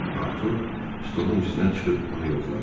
Artur stolun üstünə çıxıb onu yoxladı.